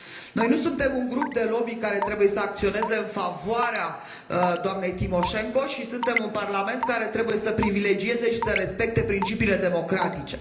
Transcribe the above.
Noi nu suntem un grup de lobby care trebuie să acționeze în favoarea doamnei Timoșenko, ci suntem un Parlament care trebuie să privilegieze și să respecte principiile democratice.